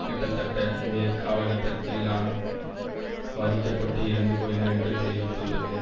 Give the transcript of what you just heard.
கிட்டத்தட்ட இதே காலக்கட்டத்தில்யான் பாதிக்க பட்டு இறந்து போயினர் என்று தெரிவித்துள்ளது